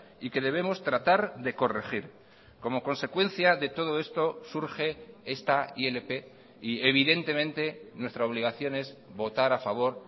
y que debemos tratar de corregir como consecuencia de todo esto surge esta ilp y evidentemente nuestra obligación es votar a favor